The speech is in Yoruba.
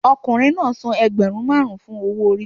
Ọkùnrin náà san ẹgbẹ̀rún márùn-ún fún owó orí.